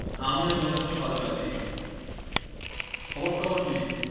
আমিও যথেষ্ট ভালো আছি, খবর টবর কি?